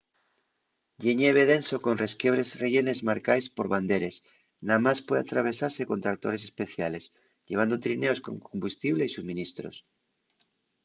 ye ñeve denso con resquiebres rellenes marcaes por banderes namás puede atravesase con tractores especiales llevando trineos con combustible y suministros